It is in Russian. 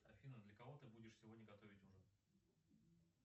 афина для кого ты будешь сегодня готовить ужин